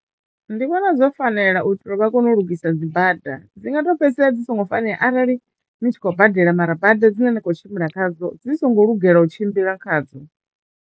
Ndi vhona zwo fanela u itela u vha kone u lugisa dzibada dzi nga to fhedzisela dzi songo fanela arali ni tshi khou badela mara bada dzine ni kho tshimbila khadzo dzi songo lugela u tshimbila khadzo.